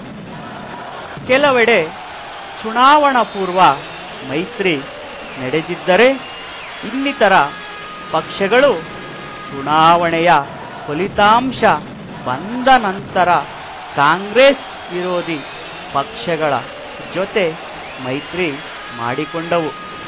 ಕೆಲವೆಡೆ ಚುನಾವಣಾಪೂರ್ವ ಮೈತ್ರಿ ನಡೆದಿದ್ದರೆ ಇನ್ನಿತರ ಪಕ್ಷಗಳು ಚುನಾವಣೆಯ ಫಲಿತಾಂಶ ಬಂದ ನಂತರ ಕಾಂಗ್ರೆಸ್‌ವಿರೋಧಿ ಪಕ್ಷಗಳ ಜೊತೆ ಮೈತ್ರಿ ಮಾಡಿಕೊಂಡವು